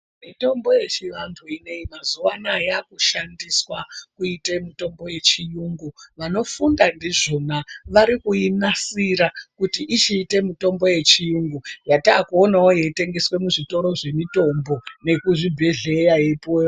Mitombo yechivantu inoyi mazuwa ano aaya yaakushandiswa kuite mitombo yechiyungu vanofunda ndizvona variikuinasira kuti ichiite mitombo yechiyungu yatakuonawo yeitengeswe muzvitoro zvemitombo nekuzvibhehleya yeipuwe varwere.